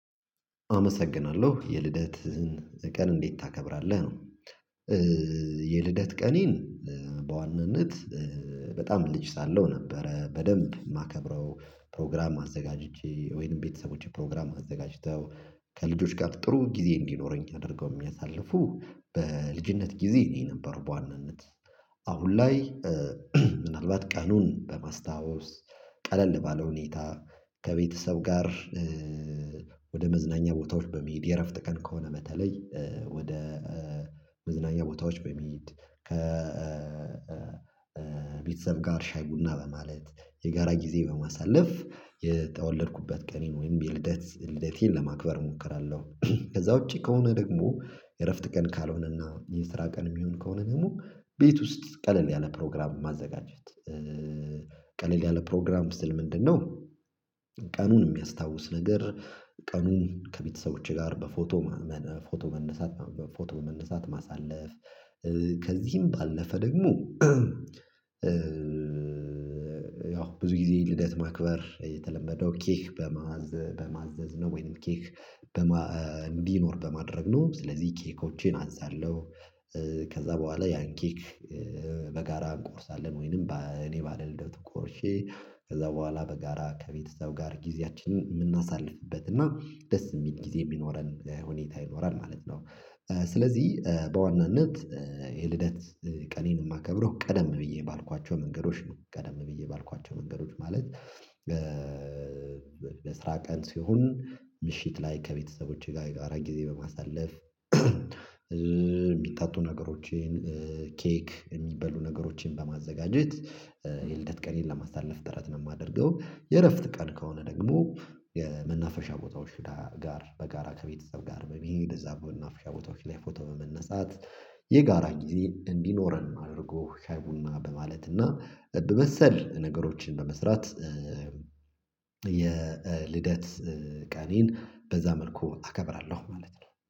አመሰግናለሁ። የልደትህን ቀን እንዴት ታከብራለህ? ነው። የልደት ቀኔን በዋናነት በጣም ልጅ ሳለው ነበረ በደንብ የማከብረው። ፕሮግራም አዘጋጅቼ፤ ወይንም ቤተሰቦቼ ፕሮግራም አዘጋጅተው፤ ከልጆች ጋር ጥሩ ጊዜ እንዲኖረኝ አድርገው የሚያሳልፉ በልጅነት ጊዜ ነው የነበሩ በዋናነት። አሁን ላይ ምናልባት ቀኑን በማስታወስ ቀለል ባለ ሁኔታ ከቤተሰብ ጋር ወደ መዝናኛ ቦታዎች በመሄድ የእረፍት ቀን ከሆነ በተለይ ወደ መዝናኛ ቦታዎች በመሄድ፤ ከ ከቤተሰብ ጋር ሻይ ቡና በማለት፤ የጋራ ጊዜ በማሳለፍ የተወለድኩበት ቀኔን ወይም የልደት ልደቴን ለማክበር እሞክራለሁ። ከዛ ውጪ ከሆነ ደግሞ የእረፍት ቀን ካልሆነና የስራ ቀን የሚሆን ከሆነ ደግሞ፥ ቤት ውስጥ ቀለል ያለ ፕሮግራም ማዘጋጀት። ቀለል ያለ ፕሮግራም ስል ምንድነው ቀኑን የሚያስታውስ ነገር ቀኑን ከቤተሰቦቼ ጋር በፎቶ ፎቶ መነሳት በፎቶ መነሳት ማሳለፍ። ከዚህም ባለፈ ደግሞ ያው ብዙ ጊዜ ልደት ማክበር የተለመደው ኬክ በማዘዝ በማዘዝ ነው ወይንም ኬክ እንዲኖር በማድረግ ነው። ስለዚህ ኬኮችን አዛለሁ ከዛ በኋላ ያን ኬክ በጋራ እንቆርሳለን ወይንም እኔ ባለልደቱ ቆርሼ ከዛ በኋላ በጋራ ከቤተሰብ ጋር ጊዜያችንን የምናሳልፍበት እና ደስ የሚል ጊዜ የሚኖረን ሁኔታ ይኖራል ማለት ነው። ስለዚህ በዋናነት የልደት ቀኔን የማከብረው ቀደም ብዬ ባልኳቸው መንገዶች ነው። ቀደም ብዬ ባልኳቸው መንገዶች ማለት ለስራ ቀን ሲሆን ምሽት ላይ ከቤተሰቦቼ ጋር የጋራ ጊዜ በማሳለፍ የሚጠጡ ነገሮችን፣ ኬክ የሚበሉ ነገሮችን በማዘጋጀት የልደት ቀኔን ለማሳለፍ ጥረት ነው የማደርገው። የእረፍት ቀን ከሆነ ደግሞ የመናፈሻ ቦታዎች ጋር በጋራ ከቤተሰብ ጋር በመሄድ፤ እዛ መናፈሻ ቦታዎች ላይ ፎቶ በመነሳት፤ የጋራ ግዜ እንዲኖረን አድርጎ ሻይ ቡና በማለት እና በመሰል ነገሮችን በመስራት የልደት ቀኔን በዛ መልኩ አከብራለሁ ማለት ነው።